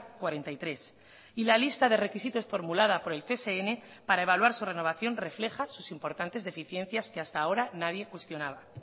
cuarenta y tres y la lista de requisitos formulada por el csn para evaluar su renovación refleja sus importantes deficiencias que hasta ahora nadie cuestionaba